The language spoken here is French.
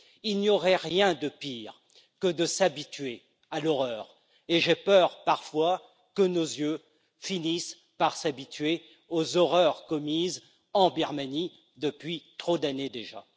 Il n'y aurait rien de pire que de s'habituer à l'horreur. Et j'ai peur, parfois, que nos yeux finissent par s'habituer aux horreurs commises en Birmanie depuis trop d'années déjà.